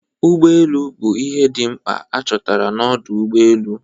Ụgbọ elu bụ ihe dị mkpa a chọtara n'ọdo ụgbọ elu.